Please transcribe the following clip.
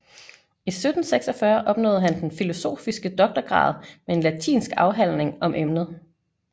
I 1746 opnåede han den filosofiske doktorgrad med en latinsk afhandling om emnet